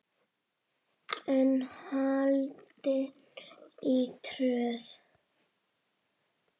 er haldin í Tröð.